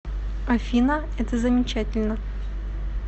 афина это замечательно